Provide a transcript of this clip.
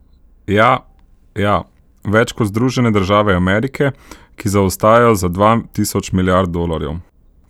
Ja, ja, več kot Združene države Amerike, ki zaostajajo za dva tisoč milijard dolarjev.